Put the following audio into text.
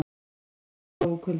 Læstist inni og dó úr kulda